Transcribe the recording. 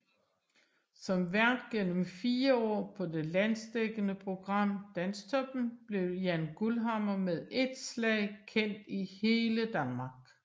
Som vært gennem 4 år på det landsdækkende program Dansktoppen blev Jann Guldhammer med et slag kendt i hele Danmark